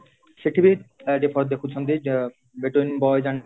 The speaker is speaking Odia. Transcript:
ସେଠି ବି ଅ ଦେଖୁଛନ୍ତି ଅ between boys and